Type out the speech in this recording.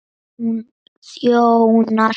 Hún þjónar